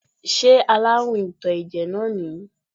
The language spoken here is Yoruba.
Ṣé aláàrùn ìtò ẹ̀jẹ̀ náà nìyí?